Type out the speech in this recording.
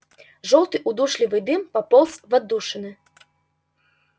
жёлтый удушливый дым пополз в отдушины